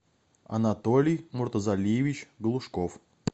анатолий муртазалиевич глушков